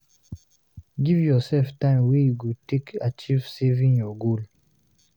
Give yourself time wey you go take achieve saving your goal